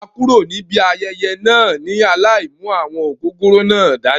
A kúrò níbi ayẹyẹ náà ni alai mú àwọn ògògóró náà dání.